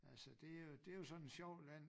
Altså det jo det jo sådan et sjovt land